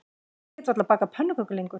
Ég get varla bakað pönnukökur lengur